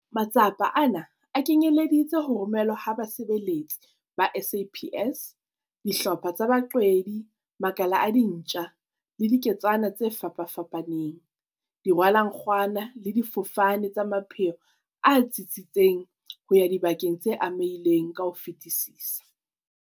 Matsapa ana a kenyeleditse ho romelwa ha basebeletsi ba SAPS, dihlopha tsa baqwedi, makala a dintja le diketswana tse fapafapaneng, dirwalankgwana le difofane tsa mapheo a tsitsitseng ho ya dibakeng tse amehileng ka ho fetisisa.